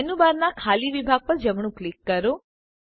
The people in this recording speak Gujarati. મેનૂબારનાં ખાલી વિભાગ પર જમણું ક્લિક કરો